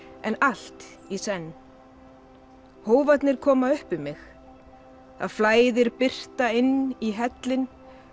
en allt í senn koma upp um mig það flæðir birta inn í hellinn